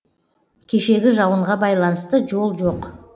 кешегі жауынға байланысты жол жоқ